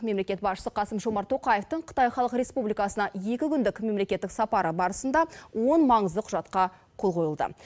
мемлекет басшысы қасым жомарт тоқаевтың қытай халық республикасына екі күндік мемлекеттік сапары барысында он маңызды құжатқа қол қойылды